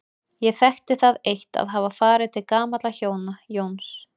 Ég þekkti það eitt að hafa farið til gamalla hjóna, Jóns